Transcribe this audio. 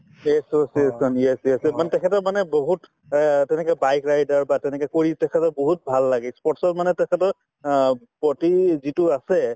association yes yes yes মানে তেখেতৰ মানে বহুত অ তেনেকে bike rider বা তেনেকে কৰি তেখেতৰ বহুত ভাল লাগে ই sports ত মানে তেখেতৰ অ প্ৰতি যিটো আছে